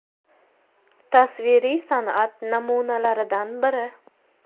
Tasviriy san’at namunalaridan biri.